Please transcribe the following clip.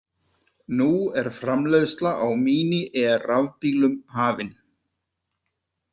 Nú er framleiðsla á Mini-E rafbílnum hafin!